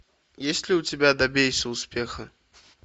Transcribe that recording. есть ли у тебя добейся успеха